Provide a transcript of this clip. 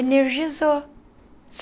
Energizou.